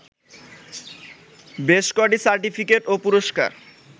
বেশ কটি সার্টিফিকেট ও পুরস্কার